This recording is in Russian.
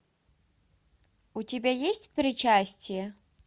у тебя есть причастие